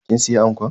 Kin siya anko?